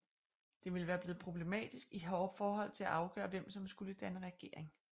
Det ville være blevet problematisk i forhold til at afgøre hvem som skulle danne regering